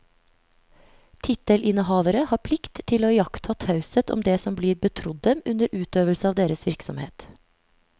Tittelinnehavere har plikt til å iaktta taushet om det som blir betrodd dem under utøvelse av deres virksomhet.